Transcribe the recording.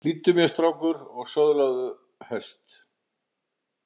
Hlýddu mér strákur og söðlaðu hest!